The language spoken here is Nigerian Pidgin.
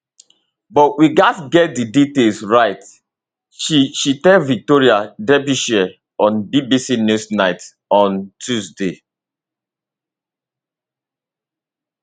but we gatz get di detail right she she tell victoria derbyshire on bbc newsnight on tuesday